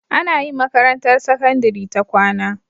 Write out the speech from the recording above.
Anayin makarantar sakandari ta kwAna